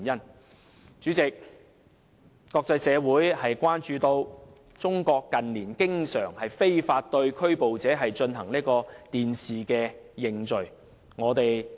代理主席，國際社會關注到，中國近年經常非法對拘捕者進行"電視認罪"。